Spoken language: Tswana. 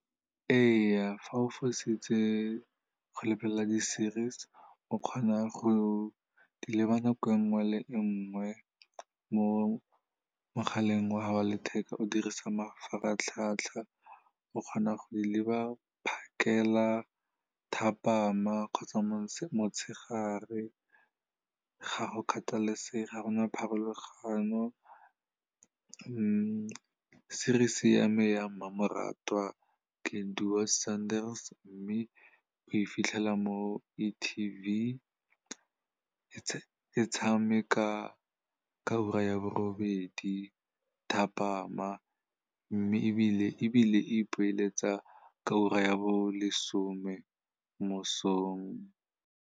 Ee, fa o fositse go lebelela di-series o kgona go di leba nako e nngwe le e nngwe mo mogaleng wa gao wa letheka, o dirisa mafaratlhatlha. O kgona go di leba phakela, thapama kgotsa motshegare, ga o kgathalesege, ga gona pharologanyo. Series-e ya me ya mmamoratwa ke Doodsondes, mme o e fitlhela mo e-TV, e tshameka ka ura ya borobedi thapama, mme ebile e ipoeletsa ka ura ya bo lesome mo mosong.